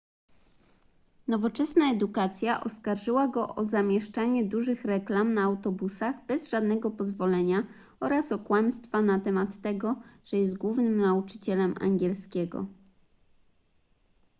nowoczesna edukacja oskarżyła go o zamieszczanie dużych reklam na autobusach bez żadnego pozwolenia oraz o kłamstwa na temat tego że jest głównym nauczycielem angielskiego